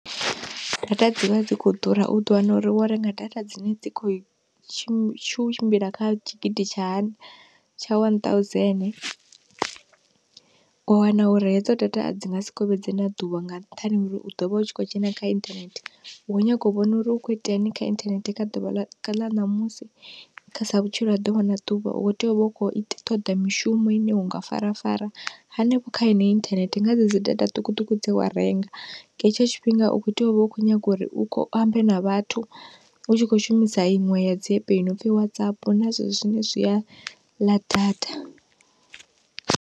Data dzi vha dzi khou ḓura, u ḓo wana uri wo renga data dzine dzi khou tshimbi tshu tshimbila kha tshigidi tsha hani, tsha one thousand wa wana uri hedzo data a dzi nga si kovhedzea na ḓuvha nga nṱhani ha uri u ḓo vha u tshi khou dzhena kha internet hu u nyago u vhona uri hu khou iteani kha internet kha ḓuvha ḽa, ḽa ṋamusi kha sa vhutshilo ha ḓuvha na ḓuvha u khou tea u vha u khou ita toḓa mishumo ine unga farafara hanefho kha heneyo internet nga dze dzi data ṱhukhuṱhukhu dze wa renga, nga hetsho tshifhinga u khou tea u vha u khou nyaga uri u khou ambe na vhathu u tshi khou shumisa iṅwe ya dzi app nopfhi Whatsapp na zwezwo zwine zwi a ḽa data.